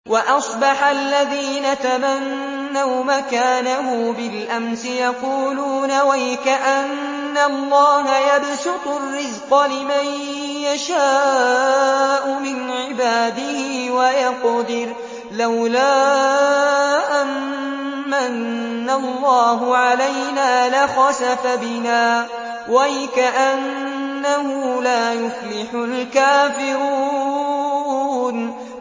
وَأَصْبَحَ الَّذِينَ تَمَنَّوْا مَكَانَهُ بِالْأَمْسِ يَقُولُونَ وَيْكَأَنَّ اللَّهَ يَبْسُطُ الرِّزْقَ لِمَن يَشَاءُ مِنْ عِبَادِهِ وَيَقْدِرُ ۖ لَوْلَا أَن مَّنَّ اللَّهُ عَلَيْنَا لَخَسَفَ بِنَا ۖ وَيْكَأَنَّهُ لَا يُفْلِحُ الْكَافِرُونَ